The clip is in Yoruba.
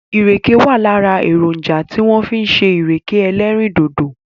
Ìrèkè wà lára èrònjà tí wọ́n fi ń ṣe ìrèké ẹlẹ́rìndòdò.